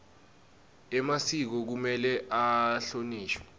emasiko kumele ahlonishwe